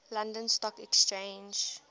london stock exchange